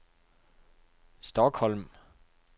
Stockholm